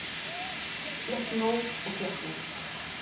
Fékk nóg og gekk út